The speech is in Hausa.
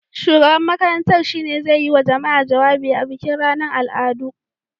Shugaban makarantar shi ne zai yi wa jama'a jawabi a bikin ranar al'adu.